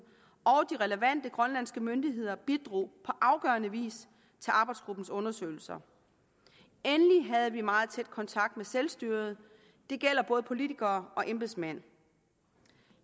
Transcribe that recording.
og de relevante grønlandske myndigheder bidrog på afgørende vis til arbejdsgruppens undersøgelser endelig havde vi meget tæt kontakt med selvstyret det gælder både politikere og embedsmænd